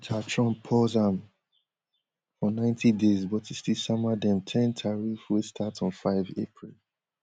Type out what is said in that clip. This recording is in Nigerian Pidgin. later trump pause am for ninety days but e still sama dem ten tariff wey start on five april